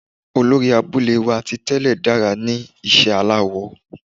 Olori abule wa ti tẹlẹ dara ni iṣẹ alawọ